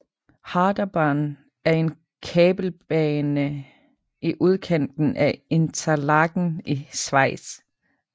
Harderbahn er en kabelbane i udkanten af Interlaken i Schweiz